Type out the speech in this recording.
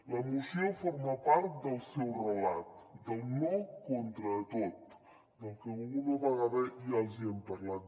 la moció forma part del seu relat del no contra tot del que alguna vegada ja els hi hem parlat